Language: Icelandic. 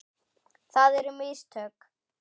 Það eru mistök.